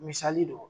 Misali don